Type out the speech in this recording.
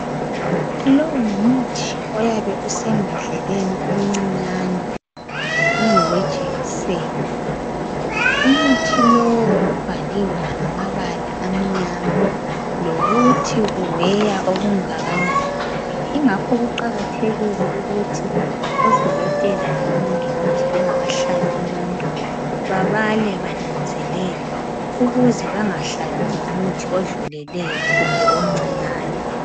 lowu ngumuthi oyabe usembodleleni encinyane ungowejekiseni umuthi lowu ubhaliwe ngabala amnyama lokuthi uweya okungakanani ingakho kuqakthekile ukuthi odokotela labo mongikazi bengakahlabi umuntu bebale benanzelele ukuze bengahlabi umuthi odluleleyo kumbe omncinyane